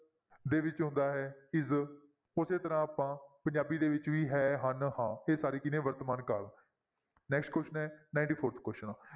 ਦੇ ਵਿੱਚ ਆਉਂਦਾ ਹੈ is ਉਸੇ ਤਰ੍ਹਾਂ ਆਪਾਂ ਪੰਜਾਬੀ ਦੇ ਵਿੱਚ ਵੀ ਹੈ, ਹਨ, ਹਾਂ, ਇਹ ਸਾਰੇ ਕੀ ਨੇ ਵਰਤਮਾਨ ਕਾਲ next question ਹੈ ninety-fourth question